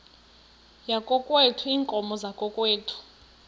yakokwethu iinkomo zakokwethu